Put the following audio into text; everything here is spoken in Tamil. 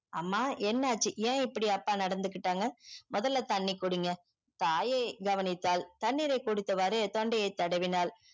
அம்மா என்ன ஆச்சி என் இப்டி அப்பா நடந்து கிட்டாங்க மொதல தண்ணி குடிங்க தாயே கவனித்தால் தண்ணீரை குடித்தவாறு தொண்டையே தடவினால்